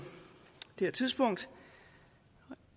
det her tidspunkt